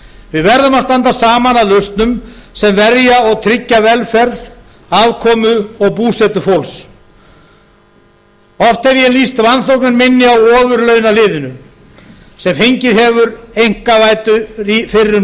við verðum að standa saman að lausnum sem verja og tryggja velferð afkomu og búsetu fólks oft hef ég lýst vanþóknun minni á ofurlaunaliðinu sem fengið hefur einkavæddu fyrrum